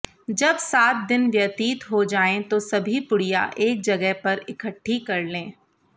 जब सात दिन व्यतीत हो जाएं तो सभी पुड़िया एक जगह पर इकट्ठी कर लें